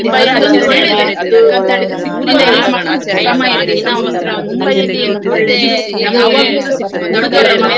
ಒಂದು ಸಲ ಅದು ಒಂದ್ಸಲ ಆ ಸಿಕ್ಕ್ ಆ time ಆ ದಿನ ಉಂಟಲ್ಲ ಅದ್ ಹ್ಮ್ ಇನ್ನೂಸ ಇನ್ನು ಯಾವಗ್ಲೂಸ ಬರ್ಲಿಕ್ಕಿಲ್ಲ.